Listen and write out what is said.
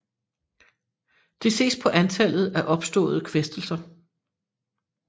Der ses på antallet af opståede kvæstelser